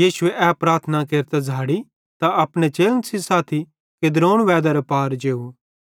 यीशुए ए प्रार्थना केरतां झ़ाड़ी त अपने चेलन सेइं साथी किद्रोन वैदरे पार जेव